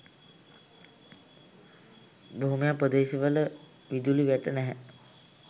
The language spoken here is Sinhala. බොහොමයක් ප්‍රදේශවල විදුලි වැට නැහැ.